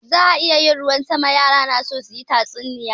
Za a yi ruwan sama, ga yara na son su ji tatsuniya.